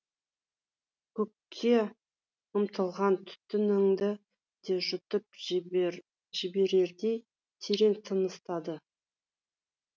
көкке ұмтылған түтінінді де жұтып жіберердей терең тыныстады